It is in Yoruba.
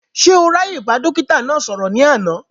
Ṣé o ráàyè bá dókítà náà sọ̀rọ̀ ní àná?